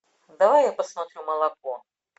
давай я посмотрю молоко